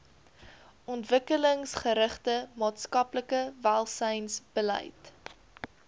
ontwikkelingsgerigte maatskaplike welsynsbeleid